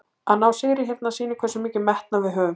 Að ná sigri hérna sýnir hversu mikinn metnað við höfum.